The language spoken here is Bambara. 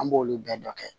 An b'olu bɛɛ dɔ kɛ